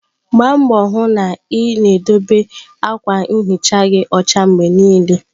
Gbaa mbọ hụ na ị na-edobe akwa nhicha gị ọcha mgbe niile!.